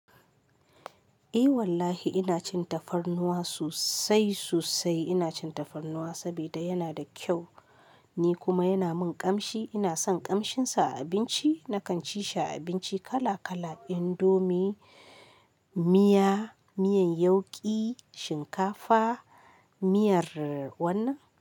Eh wallahi ina cin tafarnuwa sosai sosai. Ina cin tafarnuwa sabida yana da kyau ni kuma yana min ƙamshi. Ina son kamshin sa a abinci. Nakan ci shi a abinci kala kala indomie, miya, miyan yauƙi, shinkafa, miyar wannan.